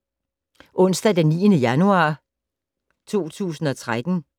Onsdag d. 9. januar 2013